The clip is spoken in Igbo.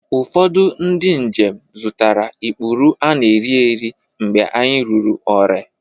Ụfọdụ ndị njem zụtara ikpuru ana-erieri mgbe anyị ruru Ore